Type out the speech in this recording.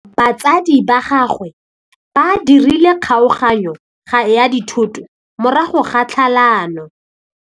Batsadi ba gagwe ba dirile kgaoganyô ya dithoto morago ga tlhalanô.